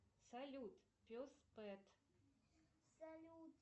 салют пес пэт